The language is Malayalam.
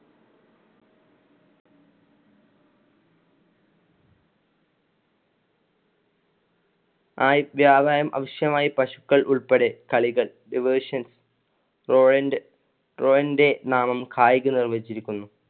ആയി വ്യാപാരം അവശ്യമായി പശുക്കള്‍ ഉൾപ്പടെ കളികൾ നാമം കായികം നിർമിച്ചിരിക്കുന്നു